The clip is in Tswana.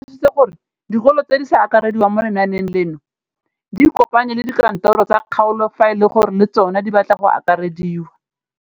O tlhalositse gore dikolo tse di sa akarediwang mo lenaaneng leno di ikopanye le dikantoro tsa kgaolo fa e le gore le tsona di batla go akarediwa.